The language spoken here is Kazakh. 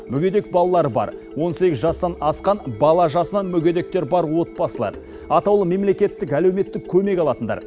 мүгедек балалары бар он сегіз жастан асқан бала жасынан мүгедектер бар отбасылар атаулы мемлекеттік әлеуметтік көмек алатындар